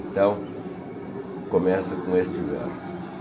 Então, começa com este verso.